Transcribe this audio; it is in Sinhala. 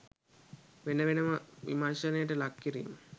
වෙන වෙනම විමර්ශනයට ලක් කිරීම